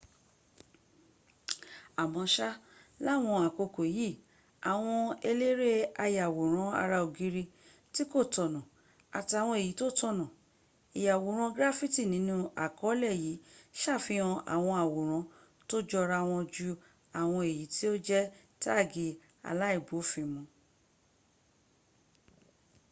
àmọ́ṣá láwọn àkókò yìí àwọn eléré ayàwòrán ara ògiri tí kò tọ̀nọ̀ àtàwọn èyí tó tọ̀nà ìyàwòrán graffiti nínú àkọọ́lẹ̀ yìí sàfihàn àwọn àwòrán tó jọra wan jú àwọn èyí tí ó jẹ́ táàgì aláìbófinmun